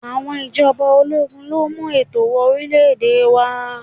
Àwọn ìjọba ológun ló mú ètò wọ orílè-èdè wá.